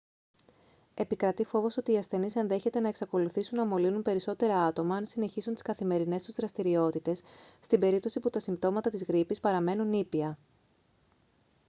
επικρατεί φόβος ότι οι ασθενείς ενδέχεται να εξακολουθήσουν να μολύνουν περισσότερα άτομα αν συνεχίσουν τις καθημερινές τους δραστηριότητες στην περίπτωση που τα συμπτώματα της γρίπης παραμένουν ήπια